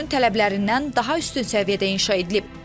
Dövrünün tələblərindən daha üstün səviyyədə inşa edilib.